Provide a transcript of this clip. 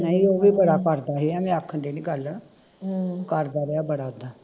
ਨਹੀਂ ਉਹ ਵੀ ਬੜਾ ਕਰਦੇ ਆ ਮੈਂ ਆਖਣ ਦੀ ਨੀ ਗੱਲ ਕਰਦਾ ਵਾ ਬੜਾ ਉੱਦਾ